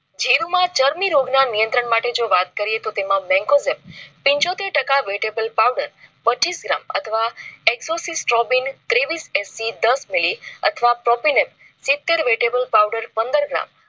જીરૂમાં ચરમી રોગ ના નિયંત્રણ માટે જો વાત કરીએ તો તેમાં benkozen પિચોતેર ટકા vetebal powder પચીસ gram અથવા. hexosis trofin ત્રેવીસ SC દસ મીલી અથવા propenem સીતેર vetebal powder પંદર gram